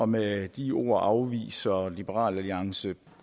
med de ord afviser liberal alliance